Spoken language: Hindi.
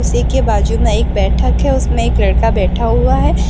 के बाजू में एक बैठक है उसमें एक लड़का बैठा हुआ है।